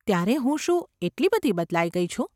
‘ત્યારે હું શું એટલી બધી બદલાઈ ગઈ છું?